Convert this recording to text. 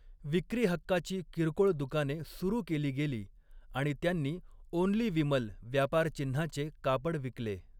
विक्रीहक्काची किरकोळ दुकाने सुरू केली गेली आणि त्यांनी 'ओन्ली विमल' व्यापारचिन्हाचे कापड विकले.